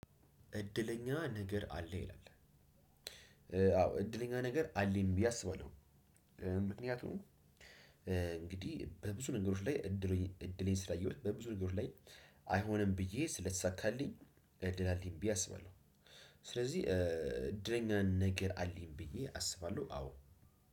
እድለኛ ነገር አለ ይላል አዎ እድለኛ ነገር አለኝ ብዬ አስባለሁ። ምክንያቱም እንግዲህ በብዙ ነገሮች ላይ እድሌን ስላየሁት በብዙ ነገሮች ላይ አይሆንም ብዬ ስለተሳካልኝ እድል አለኝ ብዬ አስባለሁ። ስለዚህ እድለኛን ነገር አለኝ ብዬ አስባለሁ አዎ